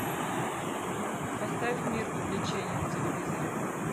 поставь мир увлечений на телевизоре